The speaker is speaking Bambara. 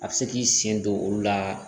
A bɛ se k'i sen don olu la